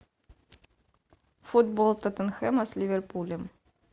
футбол тоттенхэма с ливерпулем